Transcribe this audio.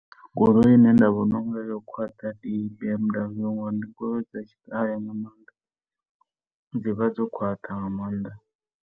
Goloi i ne nda vhona u nga ri yo khwaṱha ndi ya B_M_W ngori ndi goloi dza tshi kale dzi vha dzo khwaṱha nga maanḓa.